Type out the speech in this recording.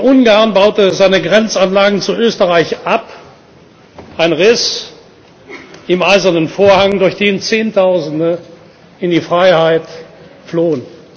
Ungarn baute seine Grenzanlagen zu Österreich ab ein Riss im Eisernen Vorhang, durch den Zehntausende in die Freiheit flohen.